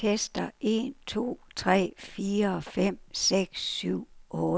Tester en to tre fire fem seks syv otte.